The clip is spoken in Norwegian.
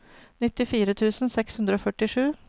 nittifire tusen seks hundre og førtisju